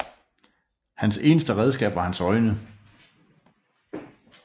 Hans eneste redskab var hans øjne